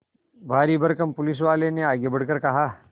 भारीभरकम पुलिसवाले ने आगे बढ़कर कहा